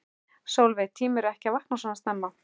Sólveig: Tímirðu ekki að vakna svona snemma?